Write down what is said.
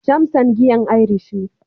"Jameson", giyan irish ne.